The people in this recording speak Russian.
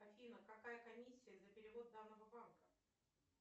афина какая комиссия за перевод данного банка